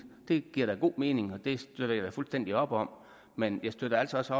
det giver god mening og det støtter jeg da fuldstændig op om men jeg støtter altså også